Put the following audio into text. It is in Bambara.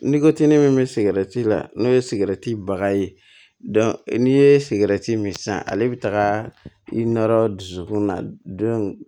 Ni ko ti ne min bɛ sigɛrɛti la n'o ye sigɛrɛti baga ye n'i ye sigɛrɛti min sisan ale bɛ taga i nɔrɔ dusukun na don